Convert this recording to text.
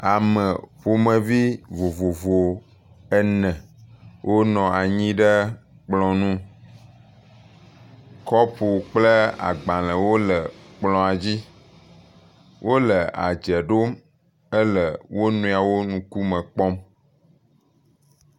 Ame ƒomevi vovovo ene wonɔ anyi ɖe kplɔ nu. Kɔpu kple agbalewo le kplɔa dzi. Wole adze ɖom ele wo nɔewo ŋkume kpɔm.